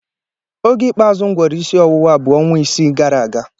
Oge ikpeazụ m gworo isi ọwụwa bụ ọnwa isii gara aga